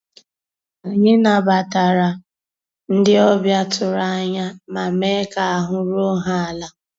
Ànyị́ nabàtàrà ndị́ ọ̀bịá tụ̀rụ̀ ànyá má meé ká àhụ́ rúó há àlà.